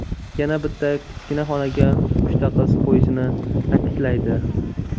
Yana bitta kichkina xonaga uchta qiz qo‘yishini ta’kidlaydi.